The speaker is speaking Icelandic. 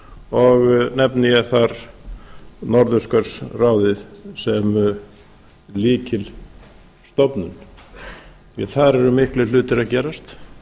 og nefni ég þar norðurskautsráðið sem lykilstofnun því að þar eru miklir hlutir að gerast